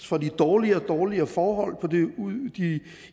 får de dårligere og dårligere forhold